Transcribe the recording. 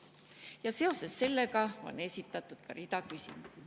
Ja seoses sellega on esitatud ka rida küsimusi.